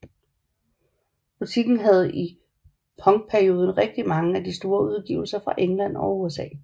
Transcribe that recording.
Butikken havde i punkperioden rigtig mange af de mest store udgivelser fra England og USA